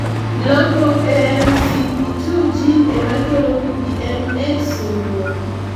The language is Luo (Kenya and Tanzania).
lokruok e MECP2 gene emakelo PPM-X syndrome